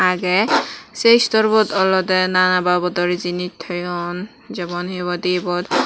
agay se store bot oloday nana babodor jinish toyone jamon he ebot